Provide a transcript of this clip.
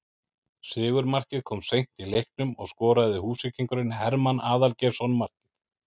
Sigurmarkið kom seint í leiknum og skoraði Húsvíkingurinn Hermann Aðalgeirsson markið